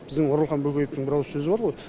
біздің оралхан бөкеевтің бір ауыз сөзі бар ғой